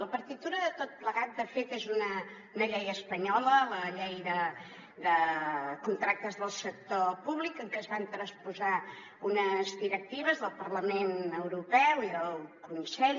la partitura de tot plegat de fet és una llei espanyola la llei de contractes del sector públic en què es van transposar unes directives del parlament europeu i del consell